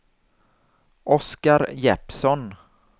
Oskar Jeppsson